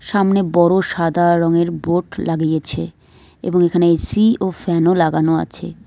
সামনে বড়ো সাদা রঙের বোর্ড লাগিয়েছে এবং এখানে এ_সি ও ফ্যানও লাগানো আছে।